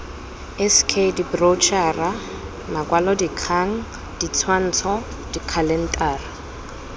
sk diboroutšhara makwalodikgang ditshwantsho dikhalentara